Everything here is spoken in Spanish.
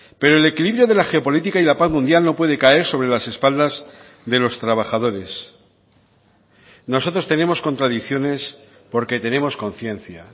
pero el equilibrio de la geopolítica y la paz mundial no puede caer sobre las espaldas de los trabajadores nosotros tenemos contradicciones porque tenemos conciencia